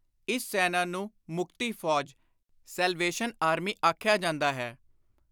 ਇਸ ਸੈਨਾ ਨੂੰ ਮੁਕਤੀ ਫ਼ੌਜ (Salvation Army) ਆਖਿਆ ਜਾਂਦਾ ਹੈ।